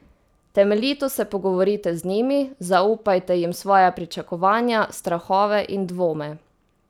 Temeljito se pogovorite z njimi, zaupajte jim svoja pričakovanja, strahove in dvome.